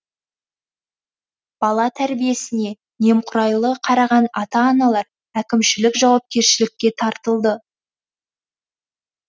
бала тәрбиесіне немқұрайлы қараған ата аналар әкімшілік жауапкершілікке тартылды